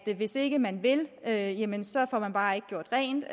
hvis ikke man vil jamen så får man bare ikke gjort rent